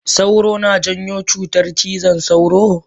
Sauro na janyo cutar cizon sauro?